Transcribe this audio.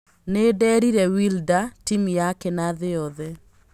Nĩnderire Wilder, timũ yake na thĩ yothe.